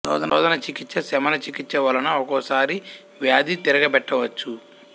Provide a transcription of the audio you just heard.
శోధన చికిత్స శమన చికిత్స వలన ఒక్కోసారి వ్యాధి తిరగపెట్టవచ్చు